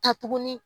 Ka tuguni